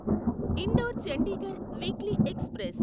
indoor Chandigarh weekly express